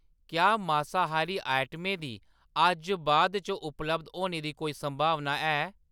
क्या मासाहारी आइटमें दी अज्ज बाद च उपलब्ध होने दी कोई संभावना ऐ ?